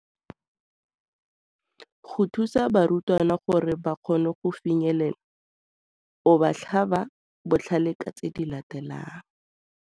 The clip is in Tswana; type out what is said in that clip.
Go thusa barutwana gore ba kgone go finyelela, o ba tlhaba botlhale ka tse di latelang.